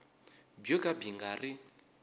byo ka byi nga ri